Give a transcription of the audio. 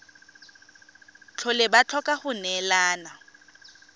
tlhole ba tlhoka go neelana